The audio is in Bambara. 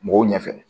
Mɔgɔw ɲɛ fɛ